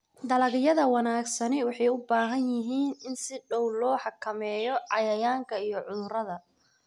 Dalagyada wanaagsani waxay u baahan yihiin in si dhow loo xakameeyo cayayaanka iyo cudurrada.